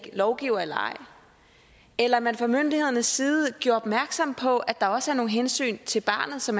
lovgiver eller ej eller at man fra myndighedernes side gjorde opmærksom på at der også er nogle hensyn til barnet som